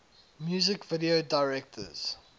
music video directors